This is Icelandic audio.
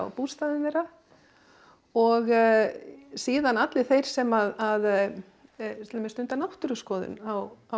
bústaðinn þeirra og síðan allir þeir sem að til dæmis stunda náttúruskoðun á á